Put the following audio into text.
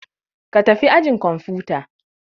Ka tafi ajin kwamfuta!